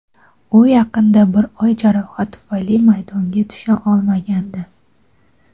U yaqinda bir oy jarohat tufayli maydonga tusha olmagandi.